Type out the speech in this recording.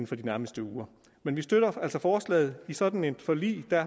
for de nærmeste uger men vi støtter altså forslaget i sådan et forlig